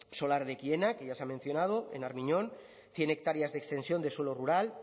solar de ekienea que ya se ha mencionado en armiñón cien hectáreas de extensión de suelo rural